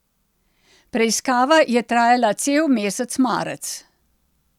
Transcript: Preiskava je trajala cel mesec marec.